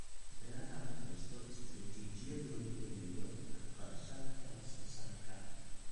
Beeraha Lahaysto istaraatiijiyad lagu dhimayo kharashaadka wax soo saarka.